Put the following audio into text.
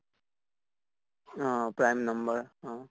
অহ prime number, অ